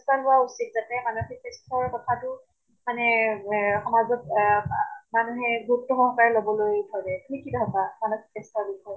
লোৱা উচিত যাতে মানসিক স্বাস্থ্য়ৰ কথাতো মানে এহ সমাজত এহ আহ মানুহে গুৰিত্ব সহকাৰে লবলৈ ধৰে শিক্ষিত মানুহে মানসিক স্বাস্থ্য়ৰ বিষয়ে